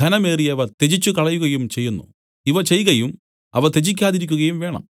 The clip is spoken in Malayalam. ഘനമേറിയവ ത്യജിച്ചുകളകയും ചെയ്യുന്നു ഇവ ചെയ്കയും അവ ത്യജിക്കാതിരിക്കയും വേണം